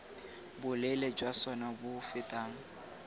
boleele jwa sona bo fetang